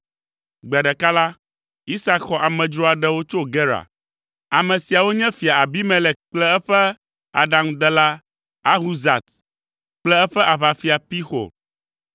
Gbe ɖeka la, Isak xɔ amedzro aɖewo tso Gerar. Ame siawo nye Fia Abimelek kple eƒe aɖaŋudela Ahuzat kple eƒe aʋafia Pixol.